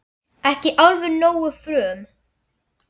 Ekki alveg nógu frum